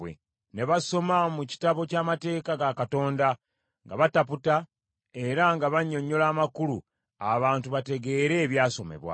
Ne basoma mu Kitabo ky’Amateeka ga Katonda, nga bataputa, era nga bannyonnyola amakulu, abantu bategeere ebyasomebwa.